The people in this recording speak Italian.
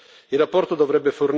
E questo sarebbe negativo.